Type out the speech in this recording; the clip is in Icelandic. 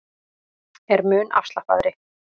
Er mun afslappaðri